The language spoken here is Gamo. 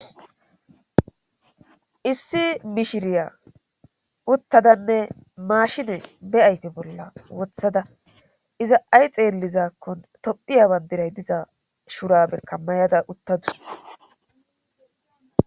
issi mishiriya uttadanne maashine be ayfe bolla wothada iza ay xeellizakkon tophiya bandiray diza shurabe kammayada uttadus